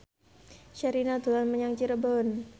Sherina dolan menyang Cirebon